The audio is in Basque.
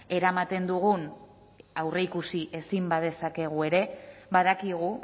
eramaten dugun aurreikusi ezin badezakegu ere badakigu